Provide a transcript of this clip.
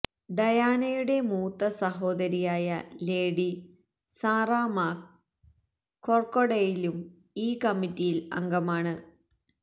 ഡയാനയുടെ മൂത്ത സഹോദരിയായ Lady Sarah മാക് കോർക്വാഡെയിലും ഈ കമ്മിറ്റിയിൽ അംഗമാണ്